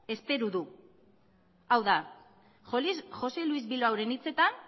espero du hau da jose luis bilbaoren hitzetan